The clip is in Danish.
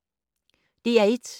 DR1